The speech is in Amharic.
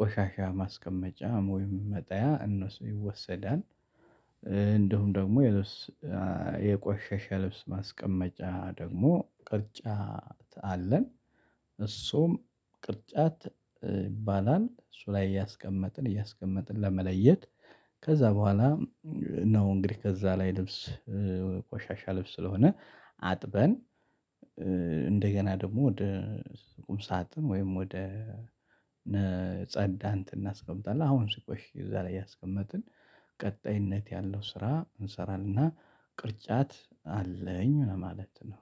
ቆሻሻ ማስቀመጫም ወይም መጣያ እነሱ ይወሰዳል። እንደውም ደግሞ የልብስ የቆሸሸ ልብስ ማስቀመጫ ደግሞ ቅርጫት አለን እሱም ቅርጫት ይባላል እሱ ላይ እያስቀመጥን እያስቀመጥን ለመለየት ከዛ በኋላ ነው። እንግዲህ ከዛ ላይ ልብስ ቆሻሻ ልብስ ስለሆነ አጥበን እንደገና ደግሞ ወደ ቁም ሳጥን ወይም ወደ የጸዳን እንትን አስቀምጣለሁ። አሁን ሲቆይ እዛ ላይ ያስቀመጥን ቀጣይነት ያለው ስራ እንሰራለን እና ቅርጫት አለኝ ማለት ነው።